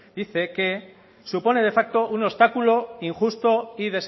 dice que supone de facto un obstáculo injusto y